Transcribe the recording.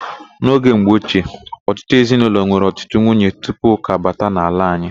N'oge mgbochie, ọtụtụ ezinaụlọ nwere ọtụtụ nwunye tupu ụka abata ala anyị.